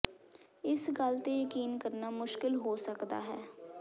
ਇਸ ਗੱਲ ਤੇ ਯਕੀਨ ਕਰਨਾ ਮੁਸ਼ਕਲ ਹੋ ਸਕਦਾ ਹੈ